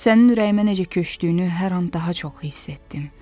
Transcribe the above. Sənin ürəyimə necə köçdüyünü hər an daha çox hiss etdim.